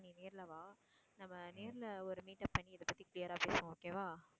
நீ நேர்ல வா. நம்ம நேர்ல ஒரு meetup பண்ணி இதைப்பத்தி clear ஆ பேசுவோம் okay வா